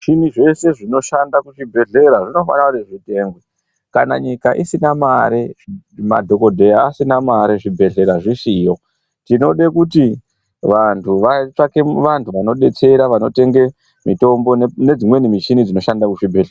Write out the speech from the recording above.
Zvimuchini zveshe zvinoshanda kuchibhedhlera zvinofana kuti zvitengwe, kana nyika isina mari, madhokodheya asina mari zvibhedhlera zvisiyo tinode kuti vantu vatsvake vantu vanodetsera vanotenge mitombo nedzimweni michini dzinoshande kuzvibhedhlera.